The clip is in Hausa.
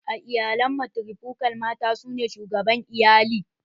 A iyalan matrifokal, mata su ne shugaban iyali